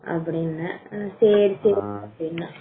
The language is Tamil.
அப்படின்ன ம் சரி சரி சரி அப்படின்னா